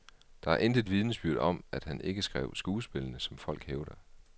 Der er intet vidnesbyrd om, at han ikke skrev skuespillene, som folk hævder.